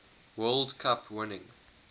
world cup winning